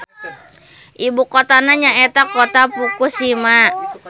Ibukotana nyaeta Kota Fukushima.